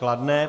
Kladné.